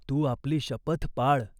तू आपली शपथ पाळ.